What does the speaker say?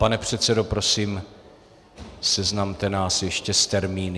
Pane předsedo, prosím, seznamte nás ještě s termíny.